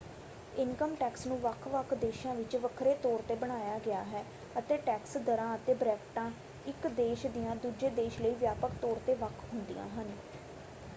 Income tax ਨੂੰ ਵੱਖ-ਵੱਖ ਦੇਸ਼ਾਂ ਵਿੱਚ ਵੱਖਰੇ ਤੌਰ 'ਤੇ ਬਣਾਇਆ ਗਿਆ ਹੈ ਅਤੇ ਟੈਕਸ ਦਰਾਂ ਅਤੇ ਬ੍ਰੈਕਟਾਂ ਇੱਕ ਦੇਸ਼ ਦੀਆਂ ਦੂਜੇ ਦੇਸ਼ ਲਈ ਵਿਆਪਕ ਤੌਰ 'ਤੇ ਵੱਖ ਹੁੰਦੀਆਂ ਹਨ।